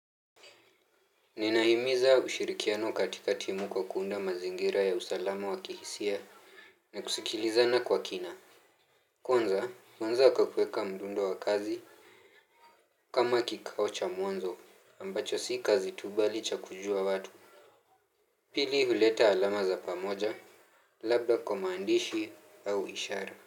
Ninahimiza ushirikiano katika timu kwa kuunda mazingira ya usalama wa kihisia. Na kusikilizana kwa kina. Kwanza, huanza kwa kuweka mdundo wa kazi. Kama kikao cha mwanzo ambacho si kazi tu bali cha kujua watu. Pili huleta alama za pamoja. Labda kwa maandishi au ishara.